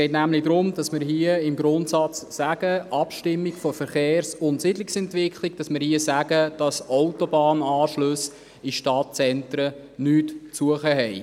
Bei der Abstimmung von Verkehrs- und Siedlungsentwicklung haben Autobahnanschlüsse in Stadtzentren nichts zu suchen.